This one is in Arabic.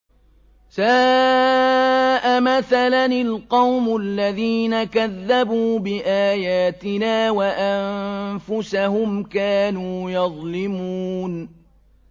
سَاءَ مَثَلًا الْقَوْمُ الَّذِينَ كَذَّبُوا بِآيَاتِنَا وَأَنفُسَهُمْ كَانُوا يَظْلِمُونَ